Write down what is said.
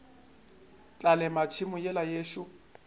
tla lema tšhemo yela yešo